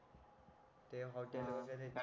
ते हॉटेल वगैरे चे